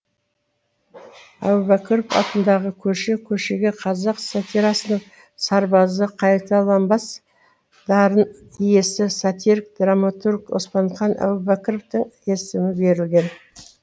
әубәкіров атындағы көше көшеге қазақ сатирасының сарбазы қайталанбас дарын иесі сатирик драматург оспанхан әубәкіровтың есімі берілген